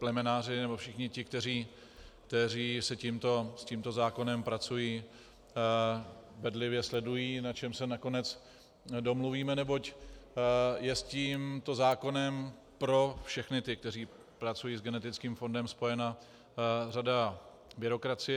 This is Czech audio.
Plemenáři nebo všichni ti, kteří s tímto zákonem pracují, bedlivě sledují, na čem se nakonec domluvíme, neboť je s tímto zákonem pro všechny ty, kteří pracují s genetickým fondem, spojena řada byrokracie.